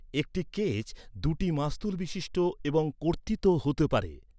একটি কেচ, দু’টি মাস্তুল বিশিষ্ট এবং কর্তিতও হতে পারে।